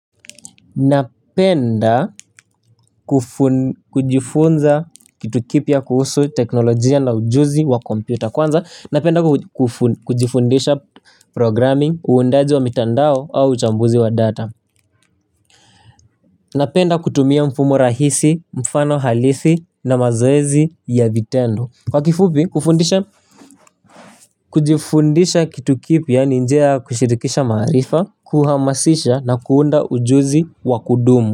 Napenda kujifunza kitu kipya kuhusu teknolojia na ujuzi wa kompyuta kwanza napenda kujifundisha programming uundaji wa mitandao au chambuzi wa data. Napenda kutumia mfumo rahisi mfano halisi na mazoezi ya vitendo kwa kifupi kufundisha. Kujifundisha kitu kipya ninjia ya kushirikisha marifa kuhamasisha na kuunda ujuzi wa kudumu.